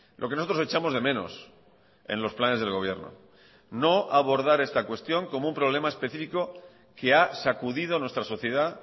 lo que nosotros echamos de menos en los planes del gobierno no abordar esta cuestión como un problema específico que ha sacudido nuestra sociedad